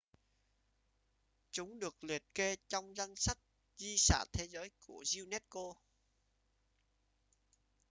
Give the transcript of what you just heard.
chúng được liệt kê trong danh sách di sản thế giới của unesco